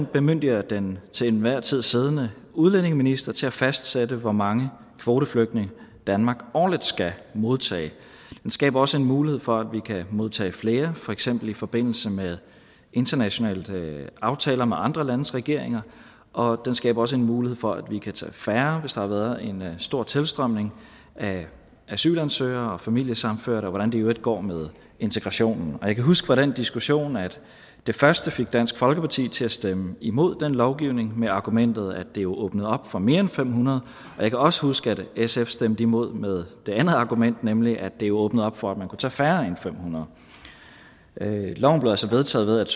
bemyndiger den til enhver tid siddende udlændingeminister til at fastsætte hvor mange kvoteflygtninge danmark årligt skal modtage den skaber også en mulighed for at vi kan modtage flere for eksempel i forbindelse med internationale aftaler med andre landes regeringer og den skaber også en mulighed for at vi kan tage færre hvis der har været en stor tilstrømning af asylansøgere og familiesammenførte og hvordan det i øvrigt går med integrationen jeg kan huske fra den diskussion at det første fik dansk folkeparti til at stemme imod den lovgivning med argumentet om at det åbnede op for mere end fem hundrede jeg kan også huske at sf stemte imod med det andet argument nemlig at det åbnede op for at man kunne tage færre end fem hundrede loven blev altså vedtaget